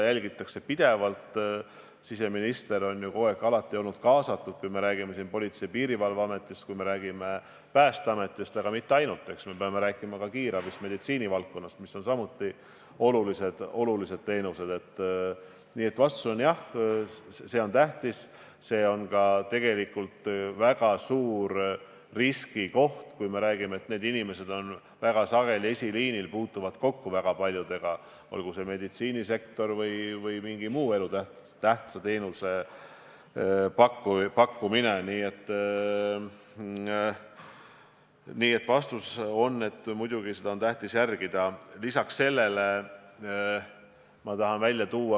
Kas valitsus on arutanud, kuidas ikkagi tagada komandode toimimine, kui tegelikult need inimesed viibivad tihti vahetustena pikka aega ühes ruumis?